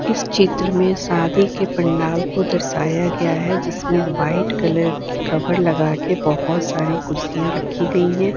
इस चित्र में सादी के पंडाल को दर्शाया गया है जिसमें व्हाइट कलर की कवर लगाके बहोत सारी कुर्सियां रखी गई है।